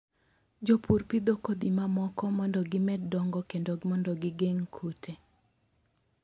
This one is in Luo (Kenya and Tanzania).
Jopur pidho kodhi mamoko mondo gimed dongo kendo mondo gigeng' kute.